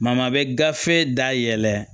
a bɛ gafe da yɛlɛ